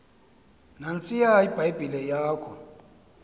nantsiya ibhayibhile yakho